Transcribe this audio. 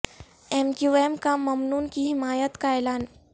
M Q M کا ممنون کی حمایت کا اعلان